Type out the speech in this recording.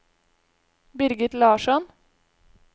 Birgit Larsson